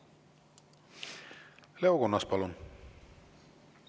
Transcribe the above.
Leo Kunnas, palun!